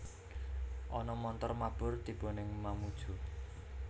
Ana montor mabur tibo ning Mamuju